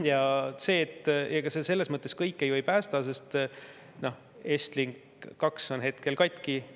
Ja ega see selles mõttes kõike ju ei päästa, et Estlink 2 on hetkel katki.